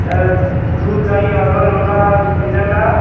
अ दुध-दही ऑर्डर होला मिलेला।